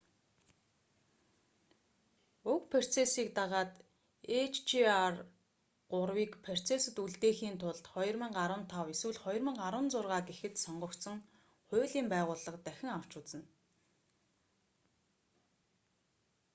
уг процессыг дагаад hjr-3-ийг процессод үлдээхийн тулд 2015 эсвэл 2016 гэхэд сонгогдсон хуулийн байгууллага дахин авч үзнэ